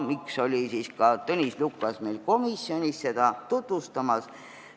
See on põhjus, miks ka Tõnis Lukas oli meil komisjonis seda tutvustamas.